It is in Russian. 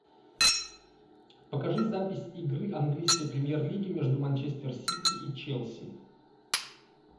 покажи запись игры английской премьер лиги между манчестер сити и челси